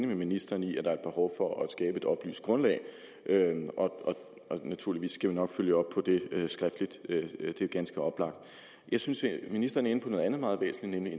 med ministeren i at der er et behov for at skabe et oplyst grundlag naturligvis skal vi nok følge op på det skriftligt det er ganske oplagt jeg synes at ministeren er inde på noget andet meget væsentligt